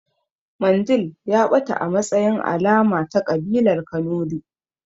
Mandil ya ɓata a matsayin alama ta ƙabilar kanuri